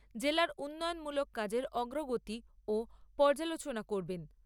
জেলার উন্নয়নমূলক কাজের অগ্রগতিও পর্যালোচনা করবেন।